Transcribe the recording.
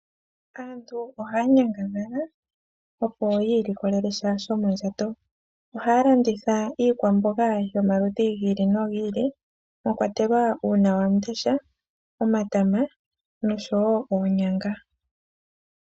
Aantu ohaya nyangadhala opo yiilikolelesha shomondjato. Ohaya landitha iikwamboga yomaludhi giili no giili mwakwatelwa uunawamundesha, omatama nosho wo oonyanga.